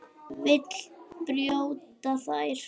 Vill brjóta þær.